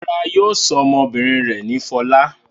Rárá, yóò sọ ọmọbìnrin rẹ̀ ní Fọlá.